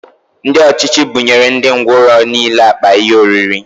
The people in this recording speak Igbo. Ndị ọchịchị buṅyere ndị ngwọrọ nile akpa ihe oriri